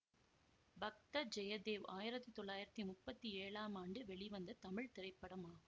பக்த ஜெயதேவ் ஆயிரத்தி தொள்ளாயிரத்தி முப்பத்தி ஏழாம் ஆண்டு வெளிவந்த தமிழ் திரைப்படமாகும்